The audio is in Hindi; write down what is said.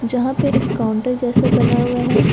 जहां पे एक काउंटर जैसा बना हुआ है।